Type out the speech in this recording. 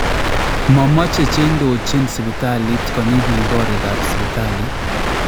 Momache cheindochin sibitalit konyi biik korikaab sibitaalit